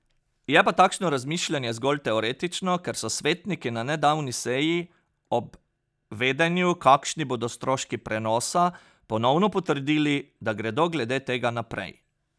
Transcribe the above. Je pa takšno razmišljanje zgolj teoretično, ker so svetniki na nedavni seji, ob vedenju, kakšni bodo stroški prenosa, ponovno potrdili, da gredo glede tega naprej.